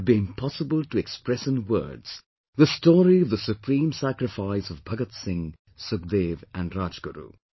It would be impossible to express in words the story of the supreme sacrifice of Bhagat Singh, Sukhdev and Rajguru